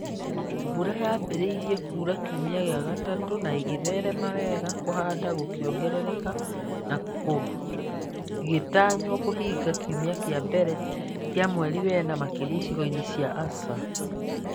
Mbura yaambĩrĩirie kuura kiumia gĩa gatatũ na ĩgĩtherema wega, kũhanda gũkĩongerereka na kũgĩtanywo kũhinga kiumia kĩa mbere kĩa mweri wena makĩria icigo-inĩ cia ASAL.